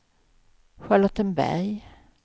Charlottenberg